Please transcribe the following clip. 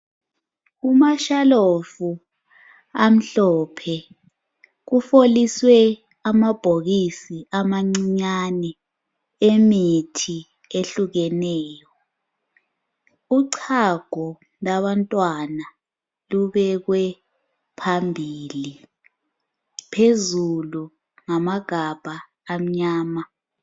Kumashalofu amhlophe kufoliswe amabhokisi amancinyane emithi ehlukeneyo, uchago lwabantwana lubekwe phambili phezulu ngamagabha amnyama.